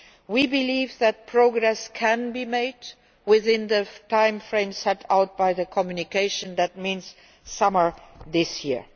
We believe that progress can be made within the time frame set out by the communication that means by summer this year.